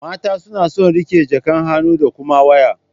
Mata suna son riƙe jakan hannu da kuma waya.